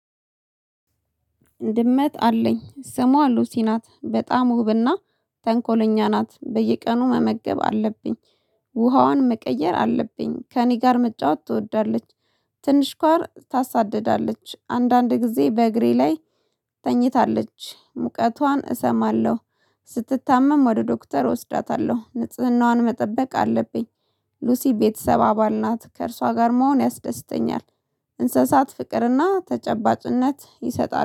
ድመት አለኝ ስሟ ሉሲ ናት በጣም ውብና ተንኮለኛ ናት በየቀኑ መመገብ አለብኝ ውሃውን መቀየር አለብኝ ከእኔ ጋር መጫወት ትወዳለች። ትንሽ ኳር ታሳድዳለች አንዳንድ ጊዜ በእግሬ ላይ ተኝታለች ሙቀቷን እሰማለሁ። ስትታመም ወደ ዶክተር እወስዳታለሁ ንጽህናዋን መጠበቅ አለብኝ። ሉሲ ቤተሰብ አባል ናት ከእርሷ ጋር መሆን ያስደስተኛል። እንስሳት ፍቅርና ተጨባጭነት ይሰጣል